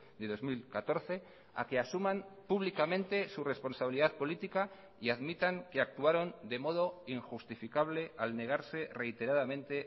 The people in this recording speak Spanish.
de dos mil catorce a que asuman públicamente su responsabilidad política y admitan que actuaron de modo injustificable al negarse reiteradamente